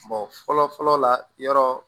fɔlɔ fɔlɔ la yɔrɔ